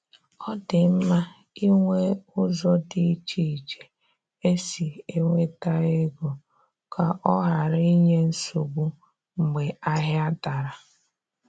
Ọ dị mma inwe ụzọ di iche iche esi enweta ego ka ọ ghara inye nsogbu mgbe ahịa dara